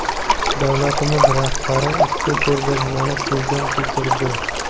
Davlatimiz rahbari ushbu ko‘rgazmani ko‘zdan kechirdi.